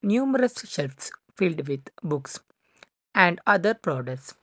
numerous selves filled with books and other products.